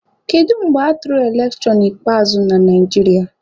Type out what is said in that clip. Kedu mgbe atụrụ elekshọn ikpeazụ na Naijiria?